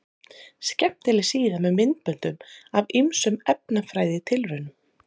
Skemmtileg síða með myndböndum af ýmsum efnafræðitilraunum.